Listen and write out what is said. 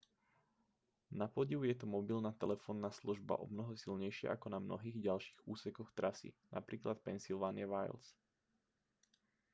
napodiv je tu mobilná telefónna služba omnoho silnejšia ako na mnohých ďalších úsekoch trasy napr v pennsylvania wilds